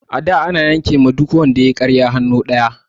A da ana yanke wa duk wanda yayi ƙarya hannu ɗaya